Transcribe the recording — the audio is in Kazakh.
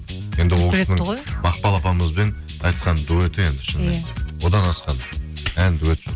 енді ол кісінің мақпал апамызбен айтқан дуэті енді шынымен одан асқан ән дуэт